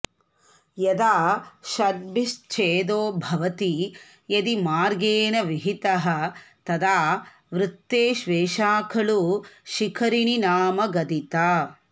यदा षड्भिश्च्छेदो भवति यदि मार्गेण विहितः तदा वृत्तेष्वेषा खलु शिखरिणी नाम गदिता